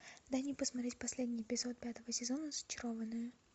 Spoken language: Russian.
дай мне посмотреть последний эпизод пятого сезона зачарованные